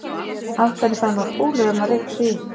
Af hverju fær maður kúlur ef maður rekur sig í?